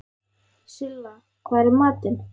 Silla, hvað er í matinn?